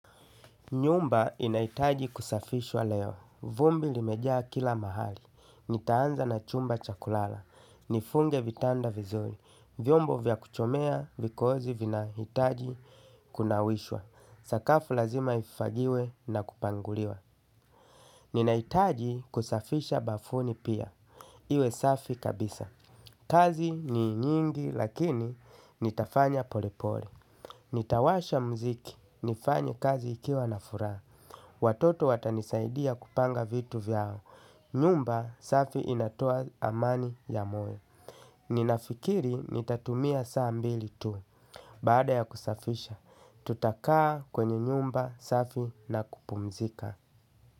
Nyumba inahitaji kusafishwa leo. Vumbi limejaa kila mahali. Nitaanza na chumba chakulala. Nifunge vitanda vizuri. Vyombo vya kuchomea vikozi vinahitaji kunawishwa. Sakafu lazima ifagiwe na kupanguliwa. Ninahitaji kusafisha bafuni pia iwe safi kabisa. Kazi ni nyingi lakini nitafanya polepole. Nitawasha muziki, nifanye kazi nikiwa na furaha. Watoto watanisaidia kupanga vitu vyao nyumba safi inatoa amani ya moyo. Ninafikiri nitatumia saa mbili tu. Baada ya kusafisha, tutakaa kwenye nyumba safi na kupumzika.